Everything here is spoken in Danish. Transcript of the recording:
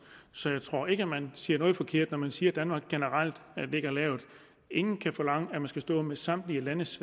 så jeg tror ikke at man siger noget forkert når man siger at danmark generelt ligger lavt ingen kan forlange at man skal stå med samtlige landes